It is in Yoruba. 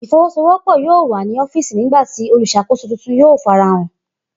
Ifowosowopo yoo wa ni ọfíìsì nigbati oluṣakoso tuntun yoo farahan.